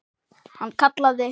Hann kallaði